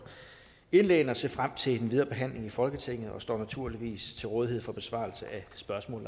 indlæggene jeg ser frem til den videre behandling i folketinget og står naturligvis til rådighed for besvarelse af spørgsmål